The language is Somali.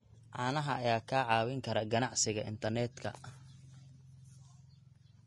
Caanaha ayaa kaa caawin kara ganacsiga internetka.